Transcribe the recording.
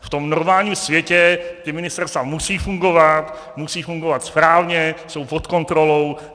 V tom normálním světě ta ministerstva musí fungovat, musí fungovat správně, jsou pod kontrolou.